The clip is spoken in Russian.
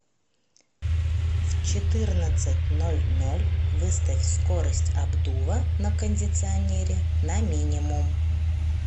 в четырнадцать ноль ноль выставь скорость обдува на кондиционере на минимум